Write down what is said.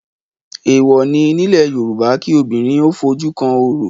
Èèwọ̀ ni nílẹ̀ Yorùbá kí obìnrin ó fojú kan orò